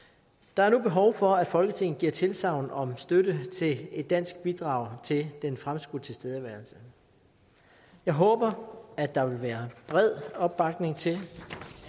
der er nu behov for at folketinget giver tilsagn om støtte til et dansk bidrag til den fremskudte tilstedeværelse jeg håber at der vil være bred opbakning til